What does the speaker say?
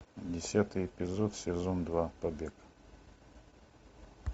десятый эпизод сезон два побег